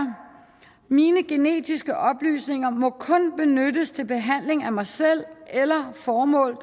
mine genetiske oplysninger må kun benyttes til behandling af mig selv eller formål